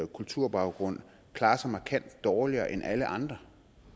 kulturbaggrund klarer sig markant dårligere end alle andre